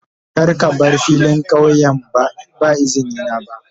Kar ka bar filin kauyen ba da izini na ba.